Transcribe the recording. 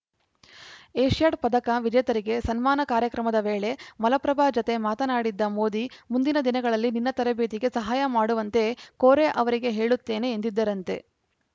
Asiad ಪದಕ ವಿಜೇತರಿಗೆ ಸನ್ಮಾನ ಕಾರ್ಯಕ್ರಮದ ವೇಳೆ ಮಲಪ್ರಭಾ ಜತೆ ಮಾತನಾಡಿದ್ದ ಮೋದಿ ಮುಂದಿನ ದಿನಗಳಲ್ಲಿ ನಿನ್ನ ತರಬೇತಿಗೆ ಸಹಾಯ ಮಾಡುವಂತೆ ಕೋರೆ ಅವರಿಗೆ ಹೇಳುತ್ತೇನೆ ಎಂದಿದ್ದರಂತೆ